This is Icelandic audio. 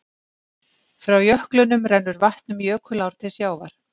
Frá jöklunum rennur vatn um jökulár til sjávar.